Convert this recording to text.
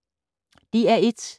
DR1